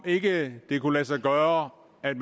ikke kunne lade sig gøre at